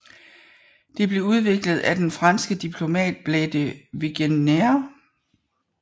Det blev udviklet af den franske diplomat Blaise de Vigenère